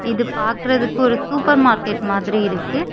இது பாக்றதுக்கு ஒரு சூப்பர் மார்க்கெட் மாதிரி இருக்கு.